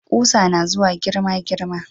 Kusa nazuwa girma girma